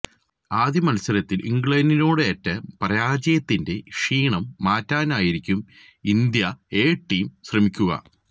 ആദ്യ മത്സരത്തില് ഇംഗ്ലണ്ടിനോടേറ്റ പരാജയത്തിന്റെ ക്ഷീണം മാറ്റാനായിരിക്കും ഇന്ത്യ എ ടീം ശ്രമിക്കുക